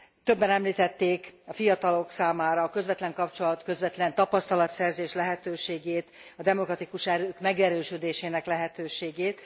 Többen említették a fiatalok számára a közvetlen kapcsolat, közvetlen tapasztalatszerzés lehetőségét, a demokratikus erők megerősödésének lehetőségét.